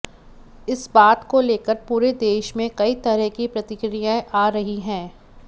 इस बात को लेकर पुरे देश में कई तरह की प्रतिक्रियाएं आ रही हैं